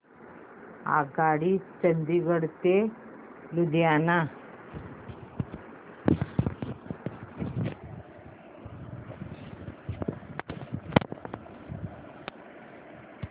आगगाडी चंदिगड ते लुधियाना